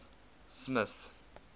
smith